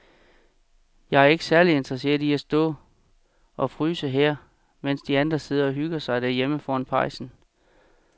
Jeg er ikke særlig interesseret i at stå og fryse her, mens de andre sidder og hygger sig derhjemme foran pejsen.